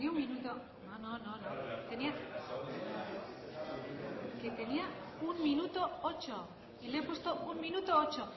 prieto jauna berbotsa